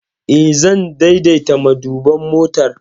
Eh, zan daidaita maduban motar.